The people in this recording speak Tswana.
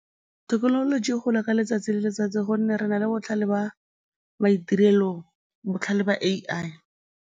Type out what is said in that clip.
Thekenoloji e gola ka letsatsi le letsatsi gonne re na le botlhale ba maitirelo, botlhale ba A_I.